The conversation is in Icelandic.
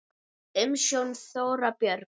Umsjón: Þóra Björg.